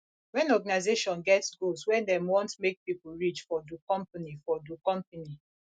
when organisation get goals wey dem want make pipo reach for do company for do company